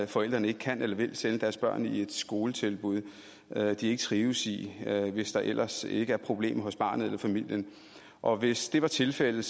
forældrene ikke kan eller vil sende deres børn i et skoletilbud de ikke trives i hvis der ellers ikke er problemer hos barnet eller familien og hvis det var tilfældet